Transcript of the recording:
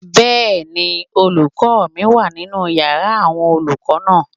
Bẹ́ẹ̀ni, olùkọ́ mi wà nínu yàrá àwọn olùkọ́ náà